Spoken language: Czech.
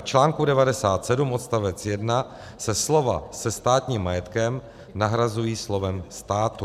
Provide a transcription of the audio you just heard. V článku 97 odst, 1 se slova "se státním majetkem" nahrazují slovem "státu".